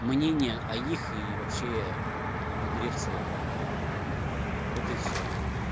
мнение о их и вообще обогрев целом вот и всё